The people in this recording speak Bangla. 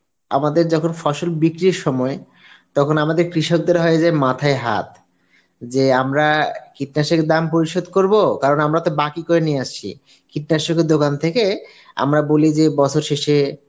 আমাদের যখন ফসল বিক্রির সময় তখন আমাদের কৃষকদের হয় যে মাথায় হাত যে আমরা কীটনাশকের দাম পরিশোধ করব কারণ আমরা তো বাকি করে নিয়ে আসছি কীটনাশকের দোকান থেকে আমরা বলি যে বছরে শেষে